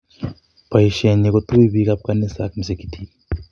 boishe nyi kotuy piik ab kanisa am msikitit